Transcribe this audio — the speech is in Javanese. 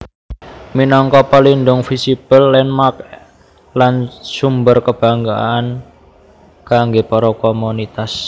Minangka pelindung visible landmark lan sumber kebanggaan kanggé para komunitas